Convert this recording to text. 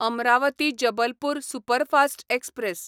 Amravati Jabalpur superfast express